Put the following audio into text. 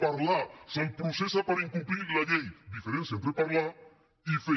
parlar se’l processa per incomplir la llei diferència entre parlar i fer